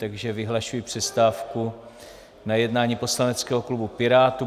Takže vyhlašuji přestávku na jednání poslaneckého klubu Pirátů.